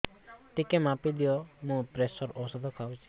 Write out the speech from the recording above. ଟିକେ ମାପିଦିଅ ମୁଁ ପ୍ରେସର ଔଷଧ ଖାଉଚି